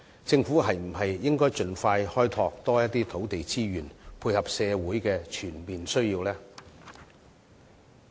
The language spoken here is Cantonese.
政府是否應該盡快開拓更多土地資源，配合社會的全面需要呢？